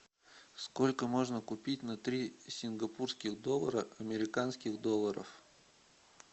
сколько можно купить на три сингапурских доллара американских долларов